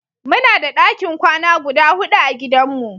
Muna da ɗakin kwana guda huɗu a gidan mu.